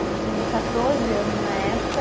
Eu tinha quatorze anos na época.